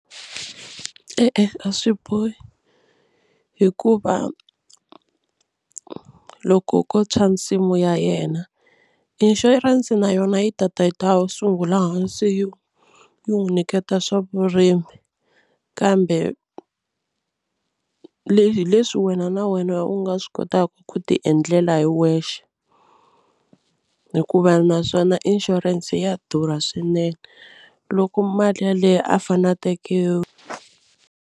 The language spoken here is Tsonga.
E-e a swi bohi hikuva loko ko tshwa nsimu ya yena inshurense na yona yi tata yi ta sungula hansi yi yi n'wi nyiketa swa vurimi kambe hi leswi wena na wena u nga swi kotaka ku tiendlela hi wexe hikuva naswona inshurense ya durha swinene loko mali yaleyo a fanele a teke.